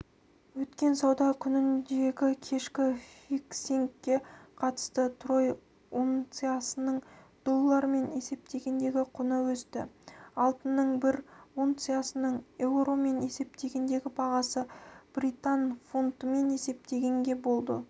өткен сауда күніндегікешкі фиксингке қатысты трой унциясының доллармен есептегендегі құны өсті алтынның бір унциясының еуромен есептегендегі бағасы британ фунтымен есептегенде болды